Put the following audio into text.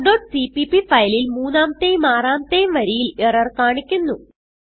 talkസിപിപി ഫയലിൽ മൂന്നാമത്തെയും ആറാമത്തെയും വരിയിൽ എറർ കാണിക്കുന്നു